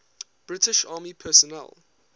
british army personnel